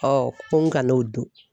ko n kan'o dun.